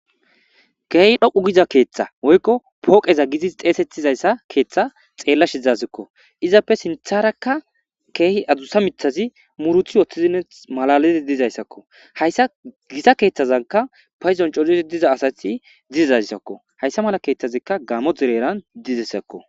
keehi dhoqu giza keeththa woykko pooqeza gizis xeesettizayssa keeththa xeella shizazikko izappe sintharakka keehi adusa mithazi muruthi woththizinet malalizi dizayssakko hayssa gisa keeththazanka fayizon codoti diza asati dizizayssakko hayssa mala keeththazikka gaamo direran dizessakko